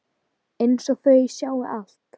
Einsog þau sjái allt.